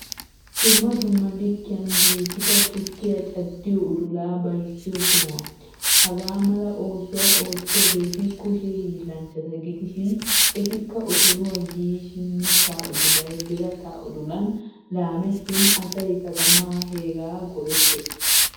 Dumma dumma likiyan giigida tukkiyaa caddiyo udula bayssiyo sohuwaa. Hagaamala oosuwaa ottiyagetti kushshee hilanchchata gidishin etikka otoruwaa giiyshin mitta udulay birata udulan laamettin asay katama heegaa go'eettees.